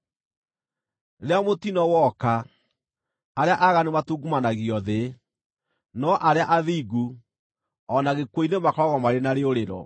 Rĩrĩa mũtino woka, arĩa aaganu matungumanagio thĩ, no arĩa athingu, o na gĩkuũ-inĩ makoragwo marĩ na rĩũrĩro.